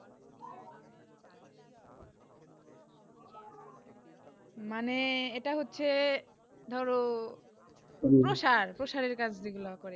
মানে এইটা হচ্ছে ধরো প্রসার প্রসারের কাজ দেখলেও করে